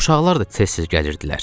Uşaqlar da tez-tez gəlirdilər.